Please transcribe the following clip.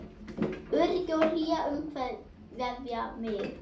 Öryggi og hlýja umvefja mig.